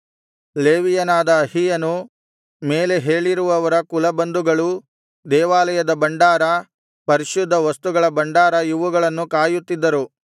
ಲೇವಿಯನಾದ ಅಹೀಯನು ಮೇಲೆ ಹೇಳಿರುವವರ ಕುಲಬಂಧುಗಳೂ ದೇವಾಲಯದ ಭಂಡಾರ ಪರಿಶುದ್ಧ ವಸ್ತುಗಳ ಭಂಡಾರ ಇವುಗಳನ್ನು ಕಾಯುತ್ತಿದ್ದರು